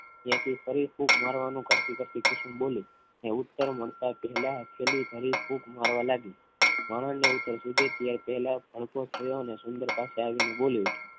ત્યાંથી ફરી ફૂંક મારવાનું કરતી કરતી કુસુમ બોલી ઉત્તર મારતા પહેલા દરેક ફુંક મારવા લાગી મામાં ને ઉતર સુજે તે પહેલા ભડકો થયો અને સુંદરતા પાસે આવીને બોલી ઉઠી